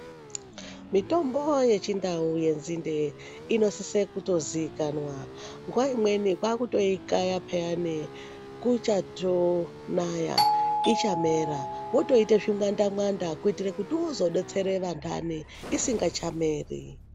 Mitombo yechindau yenzinde inosise kutozikanwa nguva imweni kwakutoyikaya payeni kuchatonaya, ichamera wotoite zvimwanda mwanda kutira kuti uzodetsera vantane isasameri.